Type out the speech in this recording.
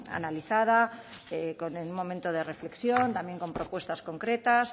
analizada con un momento de reflexión también con propuestas concretas